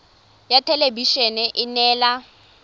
ya thelebi ene e neela